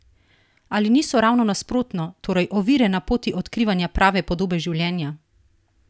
Ali niso ravno nasprotno, torej ovire na poti odkrivanja prave podobe življenja?